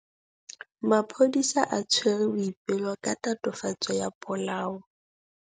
Maphodisa a tshwere Boipelo ka tatofatsô ya polaô.